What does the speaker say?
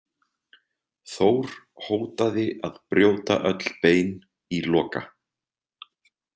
Þór hótaði að brjóta öll bein í Loka.